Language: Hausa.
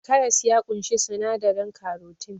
Karas ya ƙunshi sinadarin karotin